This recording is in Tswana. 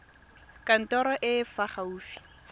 kantorong e e fa gaufi